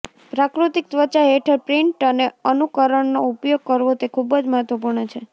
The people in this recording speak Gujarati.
પ્રાકૃતિક ત્વચા હેઠળ પ્રિન્ટ અને અનુકરણનો ઉપયોગ કરવો તે ખૂબ જ મહત્વપૂર્ણ છે